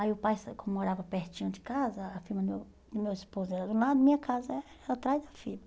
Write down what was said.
Aí o pai como morava pertinho de casa, a vila do do meu esposo era do lado, minha casa era atrás da vila.